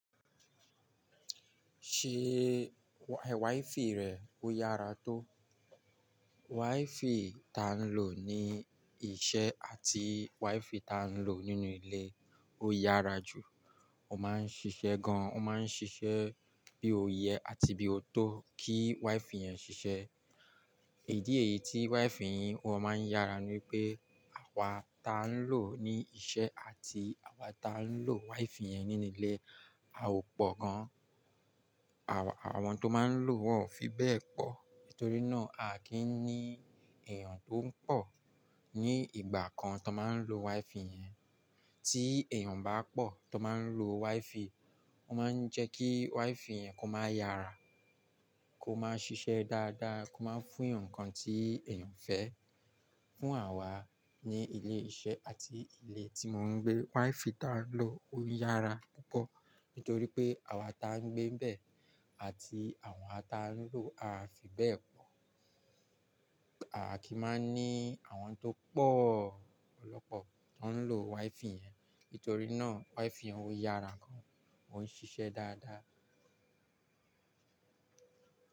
Ṣé wifi rẹ ó yára tó? Wifi ta ń lò ní iṣẹ́ àti wifi ta ń lò nínú ilé ó yára jù. Ó ma ń ṣiṣẹ́ gan, ó ma ń ṣiṣẹ́ bí oti yẹ àti bí ó tó kí wifi yẹn ṣiṣẹ́. Ìdí èyí tí wifi yí wọn ma ń yára ni pé àwa ta ń lò ní iṣẹ́ àti àwa ta ń lò wifi yẹn nínú ilé, a ò pọ̀ gan. Àwọn tó máa ń lò wọn ò fi bẹ́ẹ̀ pọ̀. Nítorí náà a kì í ní èyàn tó ń pọ̀ ní ìgbà kan tó máa ń lo wifi yẹn. Tí èèyàn bá pọ̀ tó máa ń lo wifi, ó máa ń jẹ́ kí wifi yẹn kó máa yára, kó máa ṣiṣẹ́ dáadáa, kó máa fún èyàn ǹkan tí èyàn fẹ́. Fún àwa ní ilé iṣẹ́ àti ilé tí mò ń gbé, wifi ta ń lò ó yára púpọ̀. Nítorí pé àwa ta ń gbé bẹ́ẹ̀ àti àwa ta ń lò á fi bẹ́ẹ̀ pọ̀. A kì í máa ní àwọn tó pọ̀ ọ̀pọ̀lọpọ̀ tó ń lo wifi yẹn. Nítorí náà wifi òun yára gan, ó ń ṣiṣẹ́ dáadáa.